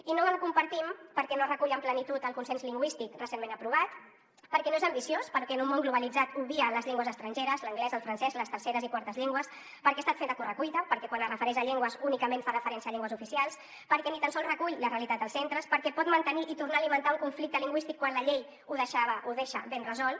i no el compartim perquè no recull amb plenitud el consens lingüístic recentment aprovat perquè no és ambiciós perquè en un món globalitzat obvia les llengües estrangeres l’anglès el francès les terceres i quartes llengües perquè ha estat fet a correcuita perquè quan es refereix a llengües únicament fa referència a llengües oficials perquè ni tan sols recull la realitat dels centres perquè pot mantenir i tornar a alimentar un conflicte lingüístic quan la llei ho deixava ho deixa ben resolt